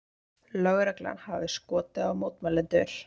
Lögreglan hafi skotið á mótmælendur